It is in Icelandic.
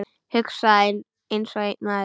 Hugsa einsog einn maður.